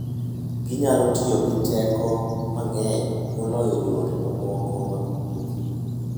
Ginyalo tiyo gi teko mang'eny moloyo yore mamoko mag wuoth.